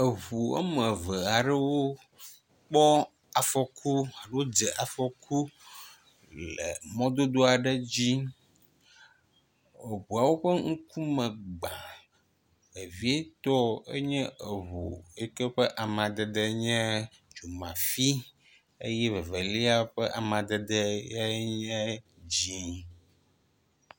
Eŋu wome eve aɖewo kpɔ afɔku alo dze afɔku le mɔdodo aɖe dzi. Eŋuawo ƒe ŋkume gbã vevietɔ enye eŋu yi ƒe amadede nye dzomafi eye evelia ƒe amadede yenye dzɛ̃.